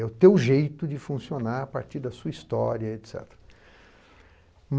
É o teu jeito de funcionar a partir da sua história, et cetera.